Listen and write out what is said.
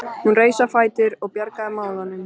Hún reis á fætur og bjargaði málunum.